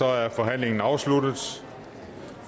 er forhandlingen afsluttet